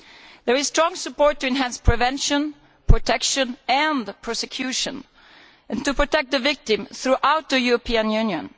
There is strong support to enhance prevention, protection and prosecution, and to protect the victim throughout the European Union.